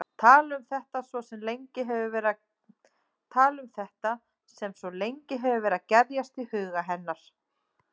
Tala um þetta sem svo lengi hefur verið að gerjast í huga hennar.